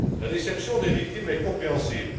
La déception des victimes est compréhensible.